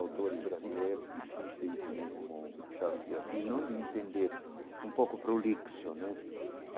Autores brasileiros, difíceis né, como o Machado de Assis, não de entender um pouco o prolixo né.